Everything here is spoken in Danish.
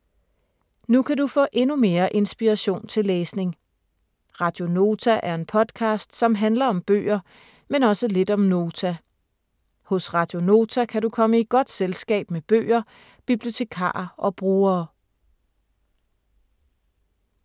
Nu kan du få endnu mere inspiration til læsning. Radio Nota er en podcast, som handler om bøger, men også lidt om Nota. Hos Radio Nota kan du komme i godt selskab med bøger, bibliotekarer og brugere.